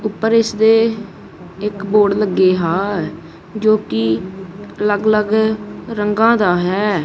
ਊਪਰ ਇੱਸ ਦੇ ਇਕ ਬੋਰਡ ਲੱਗੀ ਹੈ ਜੋਕਿ ਅੱਲਗ ਅਲੱਗ ਰੰਗਾ ਦਾ ਹੈ।